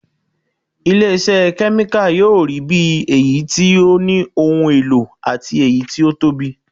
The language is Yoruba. Ilé iṣẹ́ kẹ́míkà yóò rí bí èyí tí ó ní ohun èlò àti èyí tí ó tóbi